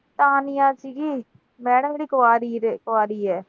Madam ਮੇਰੀ ਕੁਆਰੀ ਰਹਿ, ਕੁਆਰੀ ਆ।